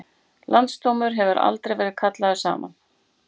Landsdómur hefur aldrei verið kallaður saman